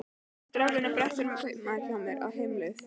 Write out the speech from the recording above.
Strákurinn á brettunum er kaupamaður hjá mér, á heimleið.